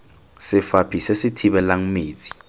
sefaphi se se thibelang metsi